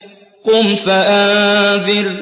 قُمْ فَأَنذِرْ